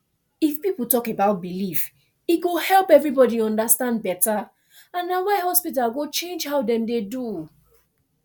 if people talk about belief e go help everybody understand better and na why hospital go change how dem dey do